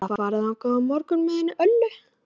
Ég ætla að fara þangað á morgun með henni Höllu.